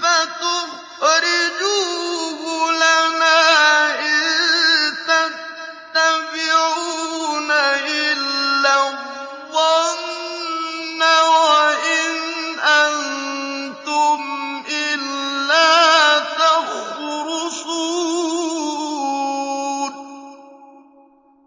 فَتُخْرِجُوهُ لَنَا ۖ إِن تَتَّبِعُونَ إِلَّا الظَّنَّ وَإِنْ أَنتُمْ إِلَّا تَخْرُصُونَ